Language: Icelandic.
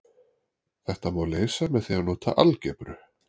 Þetta má leysa með því að nota algebru.